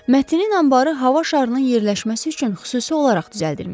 Mətinin anbarı hava şarının yerləşməsi üçün xüsusi olaraq düzəldilmişdi.